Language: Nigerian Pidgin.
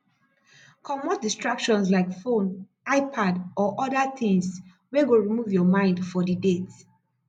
comot distractions like phone ipad or oda things wey go remove your mind for di date